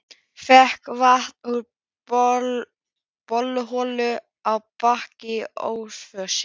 Fékk vatn úr borholu á Bakka í Ölfusi.